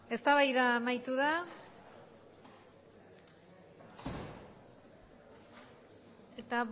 eztabaida amaitu da eta